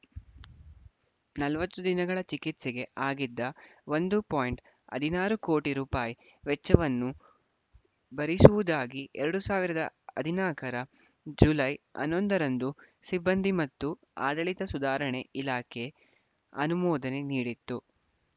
ನಲವತ್ತು ದಿನಗಳ ಚಿಕಿತ್ಸೆಗೆ ಆಗಿದ್ದ ಒಂದು ಪಾಯಿಂಟ್ ಹದಿನಾರು ಕೋಟಿ ರೂಪಾಯಿ ವೆಚ್ಚವನ್ನು ಭರಿಸುವುದಾಗಿ ಎರಡು ಸಾವಿರದ ಹದಿನಾಲ್ಕರ ಜುಲೈ ಹನ್ನೊಂದರಂದು ಸಿಬ್ಬಂದಿ ಮತ್ತು ಆಡಳಿತ ಸುಧಾರಣೆ ಇಲಾಖೆ ಅನುಮೋದನೆ ನೀಡಿತ್ತು